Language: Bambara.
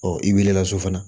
Ɔ i wulila so fana